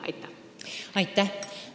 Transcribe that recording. Aitäh!